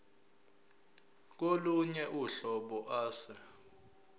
kolunye uhlobo ase